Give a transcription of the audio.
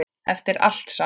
Eftir allt saman.